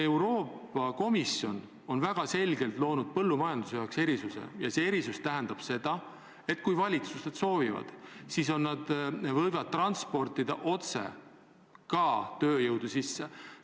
Euroopa Komisjon on väga selgelt loonud põllumajanduse jaoks erisuse ja see erisus tähendab seda, et kui valitsused soovivad, siis nad võivad otse tööjõudu sisse tuua.